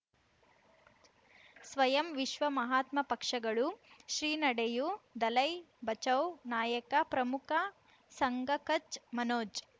ಸ್ವಯಂ ವಿಶ್ವ ಮಹಾತ್ಮ ಪಕ್ಷಗಳು ಶ್ರೀ ನಡೆಯೂ ದಲೈ ಬಚೌ ನಾಯಕ ಪ್ರಮುಖ ಸಂಘ ಕಚ್ ಮನೋಜ್